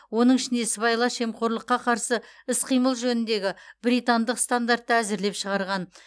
оның ішінде сыбайлас жемқорлыққа қарсы іс қимыл жөніндегі британдық стандартты әзірлеп шығарған